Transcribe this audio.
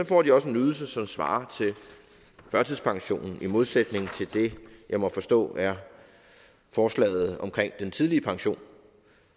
får de også en ydelse som svarer til førtidspensionen i modsætning til det jeg må forstå er forslaget omkring den tidlige pension